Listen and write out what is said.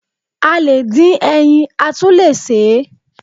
A le dín ẹyin, a tún le sè é.